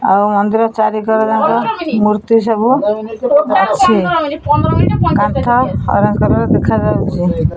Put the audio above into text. ଆଉ ମନ୍ଦିର ଚାରିକର ଯାକ ମୂର୍ତ୍ତି ସବୁ ଅଛି। କାନ୍ଥ ଅରେଞ୍ଜେ କଲର୍ ଦେଖାଯାଉଚି।